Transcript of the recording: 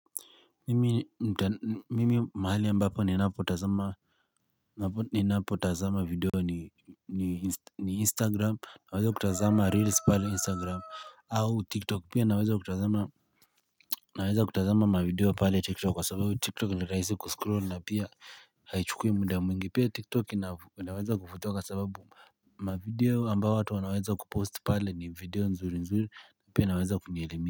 Mimi mahali ambapo ninapo tazama ninapo tazama video ni instagram na weza kutazama reels pale instagram au tiktok pia naweza kutazama mavideo pale tiktok kwa sababu tiktok ni rahisi kuscroll na pia haichukui muda mwingi pia tiktok naweza kufutoka sababu mavideo ambayo watu wanaweza kupost pale ni video nzuri nzuri na pia naweza kunielemi.